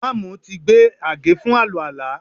Ìmáàmù ti gbé àgé fún àlùwàlá